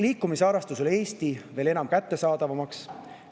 Liikumisharrastus peab üle Eesti muutuma veel enam kättesaadavaks.